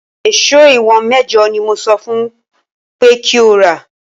Èso ìwọ̀n mẹ́jọ ni mo sọ fún un pé kí ó rà